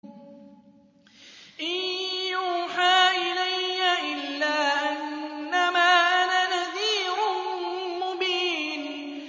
إِن يُوحَىٰ إِلَيَّ إِلَّا أَنَّمَا أَنَا نَذِيرٌ مُّبِينٌ